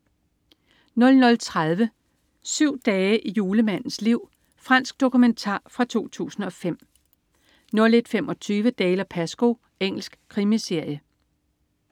00.30 Syv dage i julemandens liv. Fransk dokumentar fra 2005 01.25 Dalziel & Pascoe. Engelsk krimiserie